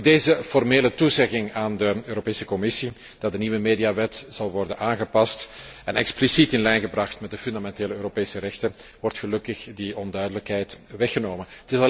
Met deze formele toezegging aan de Europese Commissie dat de nieuwe mediawet zal worden aangepast en expliciet in lijn gebracht met de Europese fundamentele rechten, wordt gelukkig die onduidelijkheid weggenomen.